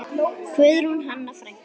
Guðrún Hanna frænka.